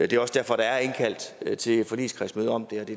det er også derfor der er indkaldt til et forligskredsmøde om